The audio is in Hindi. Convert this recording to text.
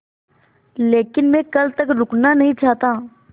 लेकिन मैं कल तक रुकना नहीं चाहता